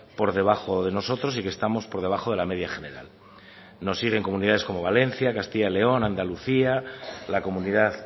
por debajo de nosotros y que estamos por debajo de la media general nos siguen comunidades como valencia castilla y león andalucía la comunidad